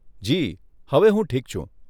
જી, હવે હું ઠીક છું.